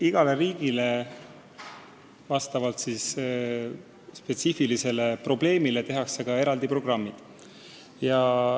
Igale riigile tehakse vastavalt nende spetsiifilistele probleemidele eraldi programmid.